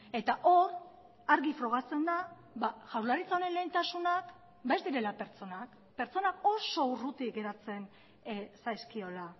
eta hor argi frogatzen da jaurlaritzaren lehentasunak ez direla pertsonak pertsonak oso urruti geratzen zaizkiola